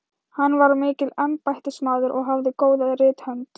Hann var mikill embættismaður og hafði góða rithönd.